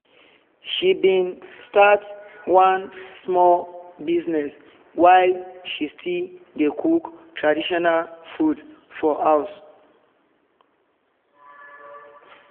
she been start one small business while she still dey cook traditional food for house